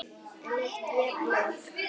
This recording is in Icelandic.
En ekki jafn löng.